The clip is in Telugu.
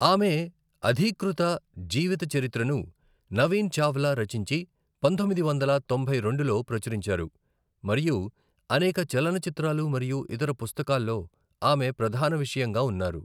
ఆమె అధీకృత జీవితచరిత్రను నవీన్ చావ్లా రచించి పంతొమ్మిది వందల తొంభై రెండులో ప్రచురించారు, మరియు అనేక చలనచిత్రాలు మరియు ఇతర పుస్తకాల్లో ఆమె ప్రధాన విషయంగా ఉన్నారు.